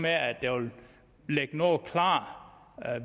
at der vil ligge noget klart